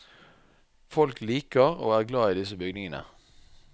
Folk liker og er glad i disse bygningene.